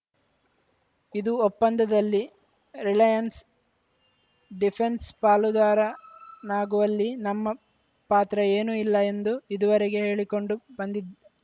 ಇದು ಒಪ್ಪಂದದಲ್ಲಿ Reliance defence ಪಾಲುದಾರನಾಗುವಲ್ಲಿ ನಮ್ಮ ಪಾತ್ರ ಏನೂ ಇಲ್ಲ ಎಂದು ಇದುವರೆಗೆ ಹೇಳಿಕೊಂಡು ಬಂದಿದ್ದ